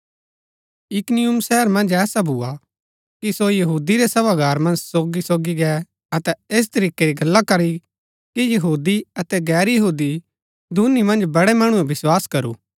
इकुनियुम शहर मन्ज ऐसा भुआ कि सो यहूदी रै सभागार मन्ज सोगी सोगी गै अतै ऐस तरीकै री गल्ला करी की यहूदी अतै गैर यहूदी दूनी मन्ज बड़ै मणुऐ विस्वास करू